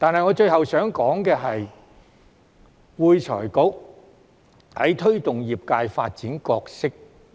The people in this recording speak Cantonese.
我最後想說的是會財局在推動業界發展的角色。